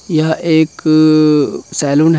यह एक सेलून है।